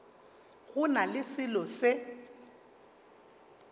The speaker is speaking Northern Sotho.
go na le selo se